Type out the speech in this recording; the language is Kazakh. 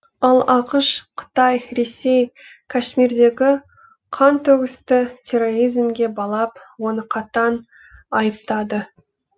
ал ақш қытай ресей кашмирдегі қантөгісті терроризмге балап оны қатаң айыптады